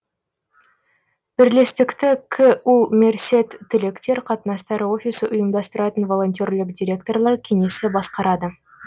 бірлестікті ку мерсед түлектер қатынастары офисі ұйымдастыратын волонтерлік директорлар кеңесі басқарады